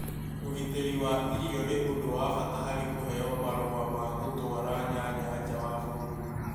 Ũgitĩri wa irio nĩ ũndũ wa bata harĩ kũheo marũa ma gũtũara nyanya nja wa bũrũri